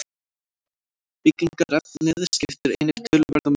Byggingarefnið skiptir einnig töluverðu máli.